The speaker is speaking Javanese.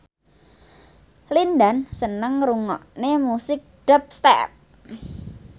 Lin Dan seneng ngrungokne musik dubstep